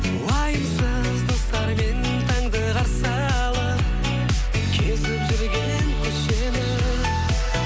уайымсыз достармен таңды қарсы алып кезіп жүрген көшені